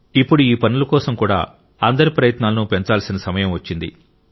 ఇప్పుడు ఈ పనుల కోసం కూడా అందరి ప్రయత్నాలను పెంచాల్సిన సమయం వచ్చింది